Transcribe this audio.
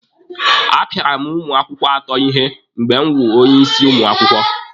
A pịara m ụmụ akwụkwọ atọ ihe mgbe m wụ onye isi ụmụ akwụkwọ.